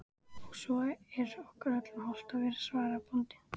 Og svo er okkur öllum hollt að vera, svaraði bóndinn.